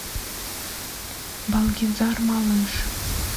балгизар малыш